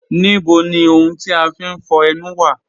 Níbò ni ọ̀hùn ti a fín fọ̀ ènù wa?